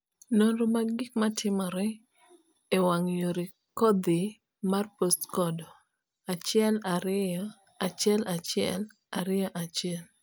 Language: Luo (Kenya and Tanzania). nonro mag gik matimore e wang'a yore kodhi mar postcode 121121